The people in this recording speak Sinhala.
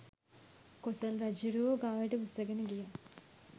කොසොල් රජ්ජුරුවෝ ගාවට උස්සගෙන ගියා